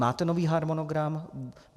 Máte nový harmonogram?